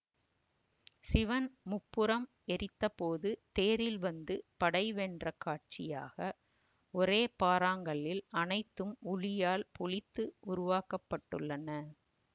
சிவன் முப்புரம் எரித்தபோது தேரில் வந்து படை வென்ற காட்சியாக ஒரே பாறாங்கல்லில் அனைத்தும் உளியால் பொளித்து உருவாக்க பட்டுள்ளன